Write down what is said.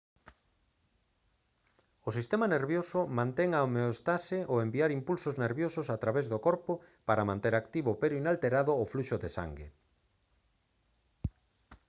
o sistema nervioso mantén a homeóstase ao enviar impulsos nerviosos a través do corpo para manter activo pero inalterado o fluxo de sangue